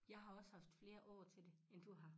Jeg har også haft flere år til det end du har